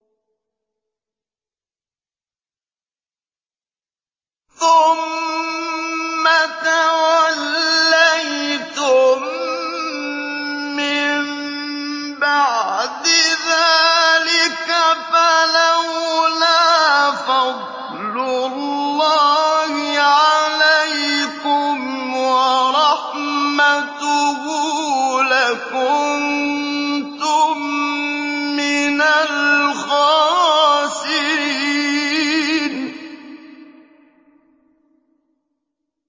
ثُمَّ تَوَلَّيْتُم مِّن بَعْدِ ذَٰلِكَ ۖ فَلَوْلَا فَضْلُ اللَّهِ عَلَيْكُمْ وَرَحْمَتُهُ لَكُنتُم مِّنَ الْخَاسِرِينَ